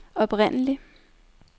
oprindelig